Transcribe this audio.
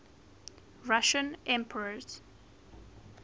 russian emperors